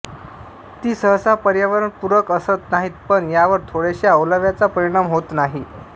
ती सहसा पर्यावरणपूरक असत नाहीत पण यावर थोड्याशा ओलाव्याचा परिणाम होत नाही